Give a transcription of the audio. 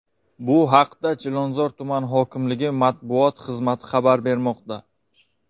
Bu haqda Chilonzor tumani hokimligi matbuot xizmati xabar bermoqda .